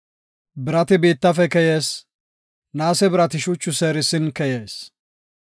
Birati biittafe keyees; naase birati shuchu seerisin keyees.